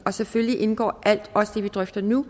og selvfølgelig indgår alt også det vi drøfter nu